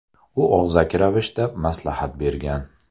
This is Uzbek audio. U og‘zaki ravishda maslahat bergan.